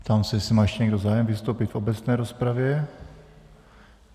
Ptám se, jestli má ještě někdo zájem vystoupit v obecné rozpravě.